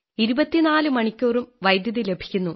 24 മണിക്കൂറും വൈദ്യുതി ലഭിക്കുന്നു